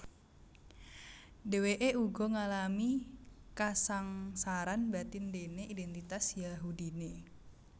Dhèwèké uga ngalami kasangsaran batin déné idèntitas Yahudiné